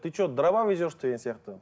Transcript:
ты че дрова везешь деген сияқты